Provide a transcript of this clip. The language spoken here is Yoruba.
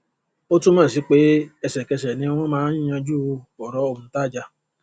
ó túnmọ sí pé ẹsẹkẹsẹ ni wọn máa ń yanjú ọrọ òǹtajà